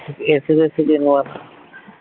AC ফেসি কিনবো না